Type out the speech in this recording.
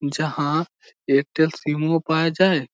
যাহা Airtel SIM -ও পাওয়া যায়।